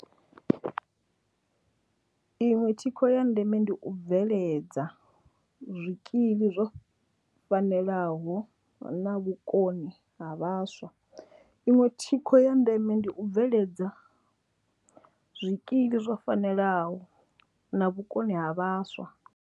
Iṅwe thikho ya ndeme ndi u bveledza zwikili zwo fanelaho na vhukoni ha vhaswa. Iṅwe thikho ya ndeme ndi u bveledza zwikili zwo fanelaho na vhukoni ha vhaswa.